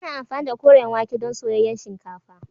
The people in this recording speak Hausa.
Ana amfani da koren wake don soyayyen shinkafa